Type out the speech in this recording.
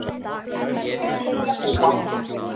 Hér vil ég búa